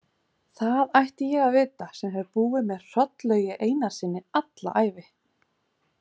Það ætti ég að vita sem hef búið með Hrollaugi Einarssyni alla ævi.